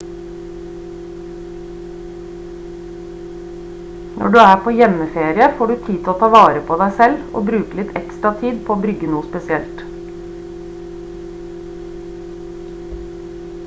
når du er på hjemmeferie får du tid til å ta vare på deg selv og bruke litt ekstra tid på å brygge noe spesielt